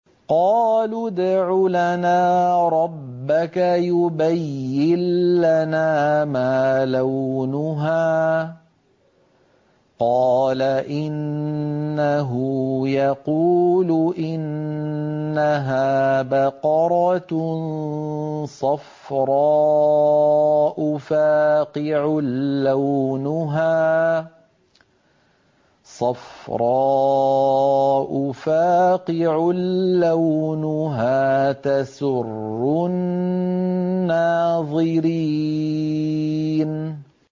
قَالُوا ادْعُ لَنَا رَبَّكَ يُبَيِّن لَّنَا مَا لَوْنُهَا ۚ قَالَ إِنَّهُ يَقُولُ إِنَّهَا بَقَرَةٌ صَفْرَاءُ فَاقِعٌ لَّوْنُهَا تَسُرُّ النَّاظِرِينَ